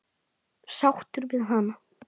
Sáttur við hana?